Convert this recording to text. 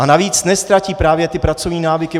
A navíc neztratí právě ty pracovní návyky.